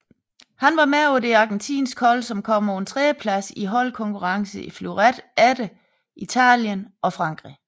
Han var med på det argentinske hold som kom på en tredjeplads i holdkonkurrencen i fleuret efter Italien og Frankrig